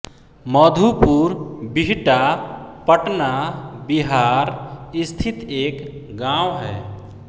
मधुपुर बीहता पटना बिहार स्थित एक गाँव है